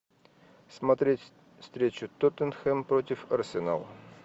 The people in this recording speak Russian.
смотреть встречу тоттенхэм против арсенала